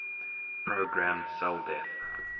programmed cell death